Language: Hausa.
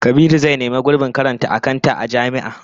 Kabiru zai nemi gurbin karanta akanta a jami'a